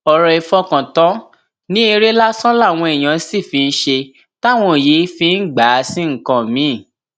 ọrọ ìfọkàntàn ní eré lásán làwọn èèyàn sì fi ń ṣe táwọn yìí fi ń gbà á sí nǹkan mìín